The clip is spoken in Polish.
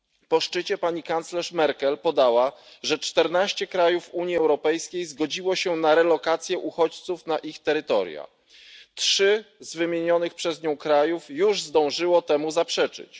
Po szczycie pani kanclerz Merkel podała, że czternaście krajów Unii Europejskiej zgodziło się na relokację uchodźców na ich terytoria trzy z wymienionych przez nią krajów już zdążyły temu zaprzeczyć.